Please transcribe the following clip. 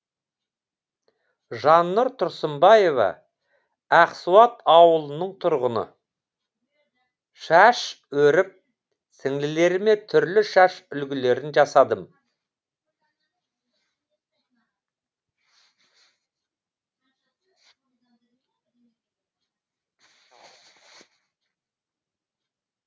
жаннұр тұрсынбаева ақсуат ауылының тұрғыны шаш өріп сіңлілеріме түрлі шаш үлгілерін жасадым